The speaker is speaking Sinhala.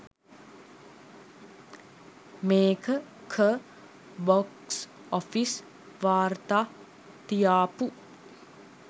මේක ක බොක්ස් ඔ‍ෆිස් වාර්තා තියාපු